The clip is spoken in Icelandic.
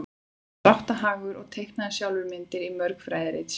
hann var drátthagur og teiknaði sjálfur myndir í mörg fræðirit sín